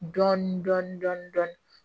Dɔɔnin dɔɔnin dɔɔnin dɔɔnin